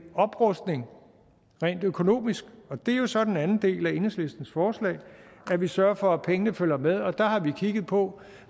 oprustning rent økonomisk det er jo så den anden del af enhedslistens forslag at vi sørger for at pengene følger med og der har vi kigget på